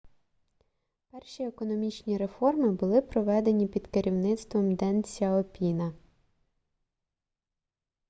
перші економічні реформи були проведені під керівництвом ден сяопіна